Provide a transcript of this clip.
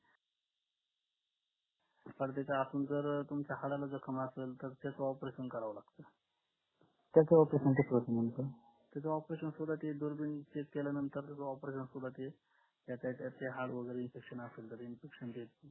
पण त्याच्या आतून जर तुमच्या हाडाला जखम असेल तर त्याच opertaion करावं लागतं त्याच operation सुरुवातीत दुर्बिन चेक केल्यानंतर